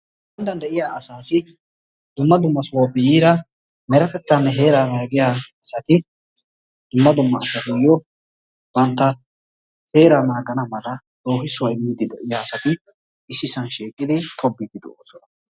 heeran de'iya asaassi dumma dumma sohuwappe yiida meretettane heeraa naagiya asati dumma dummaasatuyo banta heeraa nagana mala loohissuwa imiidi de'iya asati issisan shiiqidi tobiidi de'oosona.